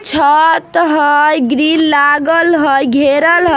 छ-त हई ग्रील लागल हई घेरल ह--